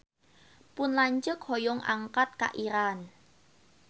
Pun lanceuk hoyong angkat ka Iran